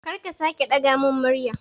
Kar ka sake ɗaga mun murya